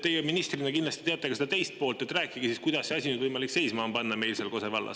Teie ministrina kindlasti teate ka seda teist poolt, rääkige siis, kuidas see asi on nüüd võimalik meil seal Kose vallas seisma panna.